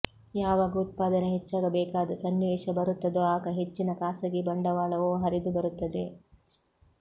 ಯಾವಾಗ ಉತ್ಪಾದನೆ ಹೆಚ್ಚಾಗಬೇಕಾದ ಸನ್ನಿವೇಶ ಬರುತ್ತದೋ ಆಗ ಹೆಚ್ಚಿನ ಖಾಸಗಿ ಬಂಡವಾಳವೂ ಹರಿದು ಬರುತ್ತದೆ